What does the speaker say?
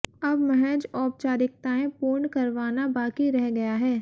अब महज औपचारिकताएं पूर्ण करवाना बाकि रह गया है